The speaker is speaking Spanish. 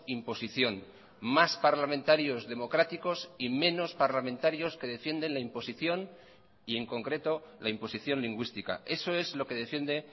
imposición más parlamentarios democráticos y menos parlamentarios que defienden la imposición y en concreto la imposición lingüística eso es lo que defiende